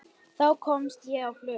Þá komst ég á flug.